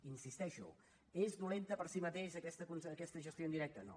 hi insisteixo és dolenta per si mateixa aquesta gestió indirecta no